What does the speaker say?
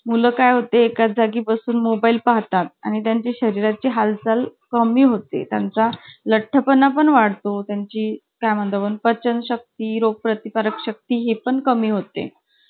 असं सांगायची आणि जाऊन. sir हि ना मला ह्या पोरी आहे ना आम्हाला पकडत नाय, आम्ही पकडापकडी खेळतो sir. मध्ये आम्ही फक्त एकालाच पकडायचो मग अकरा पोरींना काय एक पोरगा जास्त भारी नाही पडत. लगेच out व्हायचे.